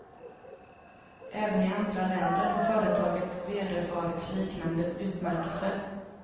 Även i andra länder har företaget vederfarits liknande utmärkelser.